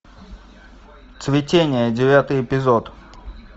цветение девятый эпизод